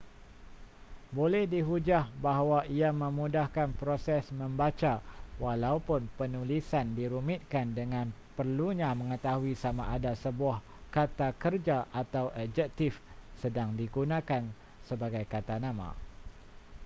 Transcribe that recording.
boleh dihujah bahawa ia memudahkan proses membaca walaupun penulisan dirumitkan dengan perlunya mengetahui sama ada sebuah kata kerja atau adjektif sedang digunakan sebagai kata nama